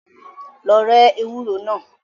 Lọ rẹ́ ewúro náà.